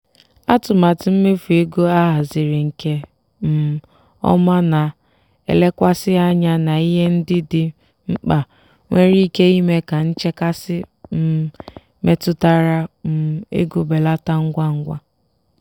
atụmatụ mmefu ego ahaziri nke um ọma na-elekwasị anya na ihe ndị dị mkpa nwere ike ime ka nchekasị um metụtara um ego belata ngwa ngwa.